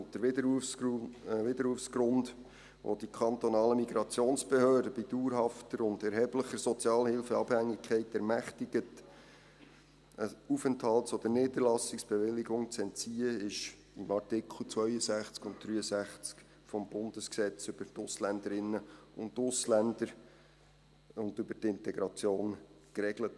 Der Widerrufsgrund, den die kantonalen Migrationsbehörden bei dauerhafter und erheblicher Sozialhilfeabhängigkeit ermächtigt, eine Aufenthalts- oder Niederlassungsbewilligung zu entziehen, ist in Artikel 62 und 63 AIG geregelt.